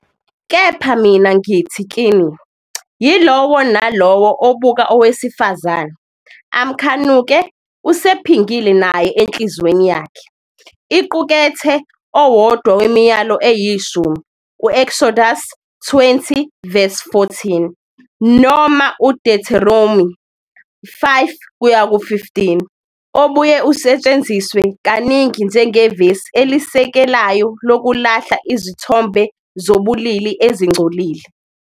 Kepha mina ngithi kini- Yilowo nalowo obuka owesifazane, amkhanuke, usephingile naye enhliziyweni yakhe. Iqukethe owodwa weMiyalo Eyishumi, u-Eksodusi 20-14 noma uDuteronomi 5-18, obuye usetshenziswe kaningi njengevesi elisekelayo lokulahla izithombe zobulili ezingcolile.